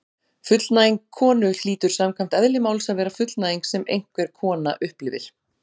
Fullnæging konu hlýtur samkvæmt eðli máls að vera fullnæging sem einhver kona upplifir.